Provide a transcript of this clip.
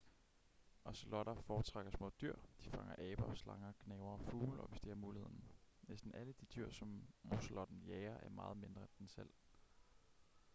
ozelotter foretrækker små dyr de fanger aber slanger gnavere og fugle hvis de har muligheden næsten alle de dyr som ozelotten jager er meget mindre end den selv